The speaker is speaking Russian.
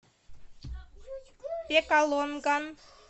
пекалонган